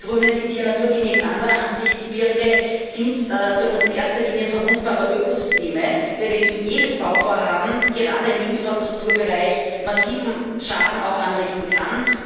Wir Grüne sind hier naturgemäß anderer Ansicht Gebirge sind für uns in erster Linie verwundbare Ökosysteme, bei welchen jedes Bauvorhaben gerade im Infrastrukturbereich massiven Schaden anrichten kann.